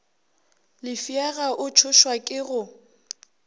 lefšega o tšhošwa ke go